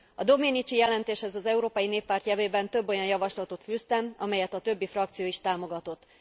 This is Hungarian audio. A Domenici jelentéshez az Európai Néppárt nevében több olyan javaslatot fűztem, amelyet a többi frakció is támogatott.